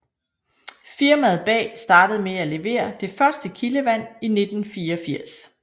Firmaet bag startede med at levere det første kildevand i 1984